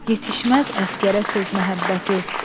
Yetişməz əsgərə söz məhəbbəti.